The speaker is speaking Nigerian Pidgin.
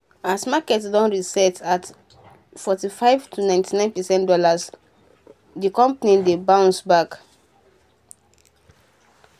as market don reset at 45.99 dolla d um company don bounce back